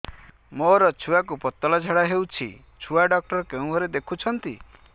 ମୋର ଛୁଆକୁ ପତଳା ଝାଡ଼ା ହେଉଛି ଛୁଆ ଡକ୍ଟର କେଉଁ ଘରେ ଦେଖୁଛନ୍ତି